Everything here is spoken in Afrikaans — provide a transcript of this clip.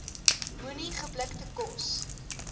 moenie geblikte kos